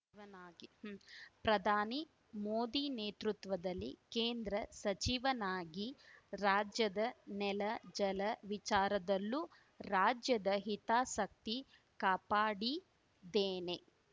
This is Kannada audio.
ವನಾಗಿ ಹೂಂ ಪ್ರಧಾನಿ ಮೋದಿ ನೇತೃತ್ವದಲ್ಲಿ ಕೇಂದ್ರ ಸಚಿವನಾಗಿ ರಾಜ್ಯದ ನೆಲ ಜಲ ವಿಚಾರದಲ್ಲೂ ರಾಜ್ಯದ ಹಿತಾಸಕ್ತಿ ಕಾಪಾಡಿದ್ದೇನೆ